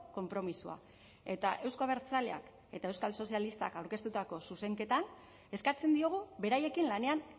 konpromisoa eta euzko abertzaleak eta euskal sozialistak aurkeztutako zuzenketan eskatzen diogu beraiekin lanean